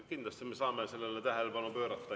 Kindlasti me saame sellele tähelepanu pöörata.